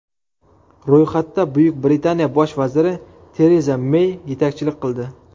Ro‘yxatda Buyuk Britaniya bosh vaziri Tereza Mey yetakchilik qildi.